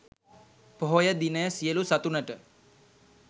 පොහොය දිනය සියලු සතුනට